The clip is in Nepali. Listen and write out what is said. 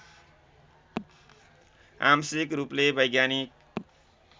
आंशिक रूपले वैज्ञानिक